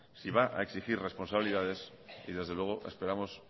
si va a exigir responsabilidades y desde luego esperamos